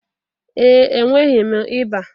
Ee, enweghị m ịba